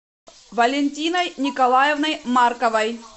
валентиной николаевной марковой